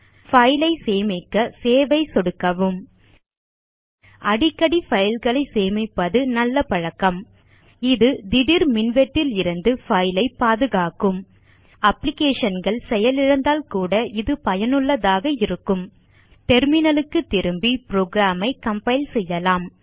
file ஐ சேமிக்க save ஐ சொடுக்கவும் அடிக்கடி பைல் களை சேமிப்பது நல்ல பழக்கம் இது திடீர் மின்வெட்டிலிருந்து பைல் ஐ பாதுகாக்கும் applicationகள் செயலிழந்தால் கூட இது பயனுள்ளதாக இருக்கும் டெர்மினல் க்கு திரும்பி புரோகிராம் ஐ கம்பைல் செய்யலாம்